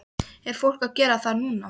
Er fólk að gera það núna?